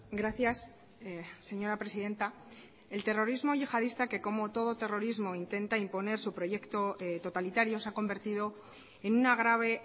gracias señora presidenta el terrorismo yihadista que como todo terrorismo intenta imponer su proyecto totalitario se ha convertido en una grave